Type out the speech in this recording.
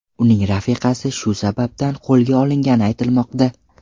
Uning rafiqasi shu sababdan qo‘lga olingani aytilmoqda.